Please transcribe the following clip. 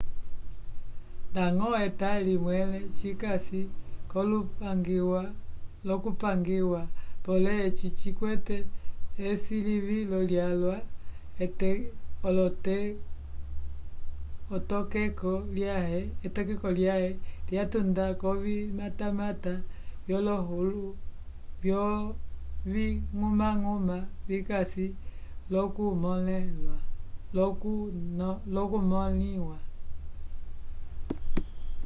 nadñgo etali mwẽle cikasi l'okupangiwa pole eci cikwete esilivilo lyalwa etokeko lyãhe lyatunda k'ovimatamata vyoviñgumañguma vikasi l'okumõliwa